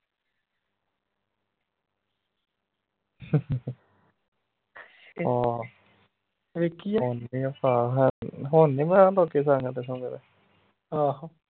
ਕਾਲਾ ਹੁਣ ਨੀ ਮੈਂ ਆਂਦਾ